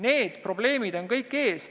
Need probleemid on kõik ees.